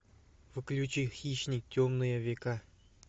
включи хищник темные века